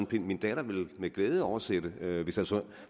pind min datter vil med glæde oversætte